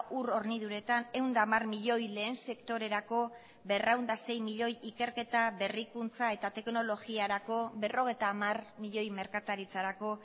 ur horniduretan ehun eta hamar milioi lehen sektorerako berrehun eta sei milioi ikerketa berrikuntza eta teknologiarako berrogeita hamar milioi merkataritzarako